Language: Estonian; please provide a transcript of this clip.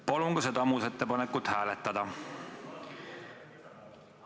Palun ka seda muudatusettepanekut hääletada!